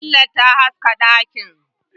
Fitilar ta haska dakin.